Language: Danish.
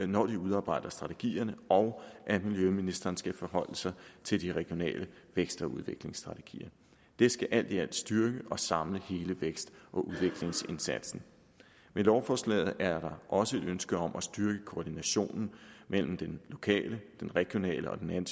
når de udarbejder strategierne og at miljøministeren skal forholde sig til de regionale vækst og udviklingsstrategier det skal alt i alt styrke og samle hele vækst og udviklingsindsatsen med lovforslaget er der også et ønske om at styrke koordinationen mellem den lokale den regionale og den